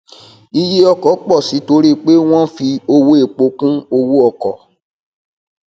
iye ọkọ pọ sí i torí pé wọn um fi owó epo kún owó ọkọ um